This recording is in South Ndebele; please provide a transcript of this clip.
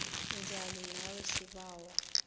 njani nawe sibawa